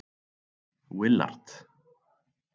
Willard